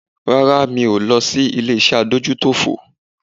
Rárá mi ò lọ ilé-iṣẹ́ Adójútòfò